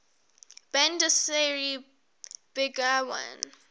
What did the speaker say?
bandar seri begawan